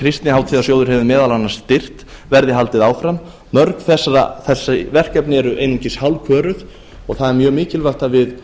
kristnihátíðarsjóður hefur meðal annars styrkt verði haldið áfram mörg þessi verkefni eru einungis hálfköruð og það er mjög mikilvæga að við